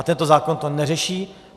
A tento zákon to neřeší.